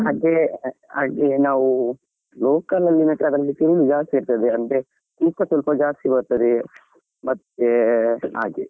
ಹಾಗೆ ಹಾಗೆ ನಾವು local ಎಲ್ಲಾ ನೆಟ್ರೆ ತಿರುವು ಜಾಸ್ತಿ ಇರ್ತದೆ ಅದ್ರಲ್ಲಿ ತೂಕ ಸ್ವಲ್ಪ ಜಾಸ್ತಿ ಬರ್ತದೆ ಮತ್ತೆ ಹಾಗೆ.